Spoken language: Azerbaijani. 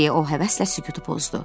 deyə o həvəslə sükutu pozdu.